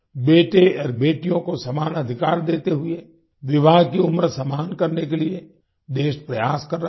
बेटे और बेटियों को समान अधिकार देते हुए विवाह की उम्र समान करने के लिए देश प्रयास कर रहा है